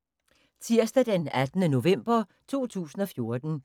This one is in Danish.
Tirsdag d. 18. november 2014